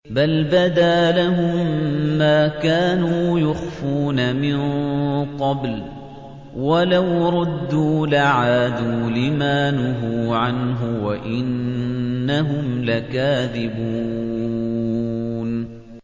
بَلْ بَدَا لَهُم مَّا كَانُوا يُخْفُونَ مِن قَبْلُ ۖ وَلَوْ رُدُّوا لَعَادُوا لِمَا نُهُوا عَنْهُ وَإِنَّهُمْ لَكَاذِبُونَ